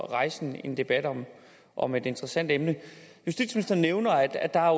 rejse en debat om om et interessant emne justitsministeren nævner at der